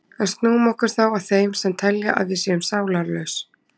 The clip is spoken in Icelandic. En snúum okkur þá að þeim sem telja að við séum sálarlaus.